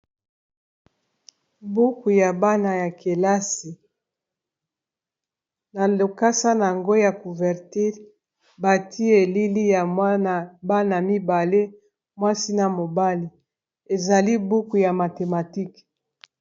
buku ya bana ya kelasi na lokasa na yango ya couverture bati elili ya mwaa bana mibale mwasi na mobali ezali buku ya mathematikue